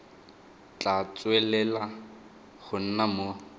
tla tswelela go nna mo